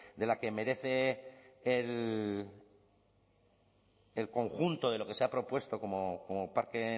de la que merece el conjunto de lo que se ha propuesto como parque